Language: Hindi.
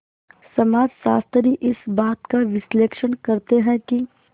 समाजशास्त्री इस बात का विश्लेषण करते हैं कि